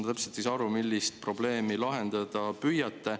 Ma ei saa täpselt aru, millist probleemi te lahendada püüate.